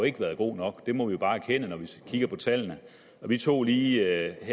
ikke været god nok det må vi bare erkende når vi kigger på tallene vi tog lige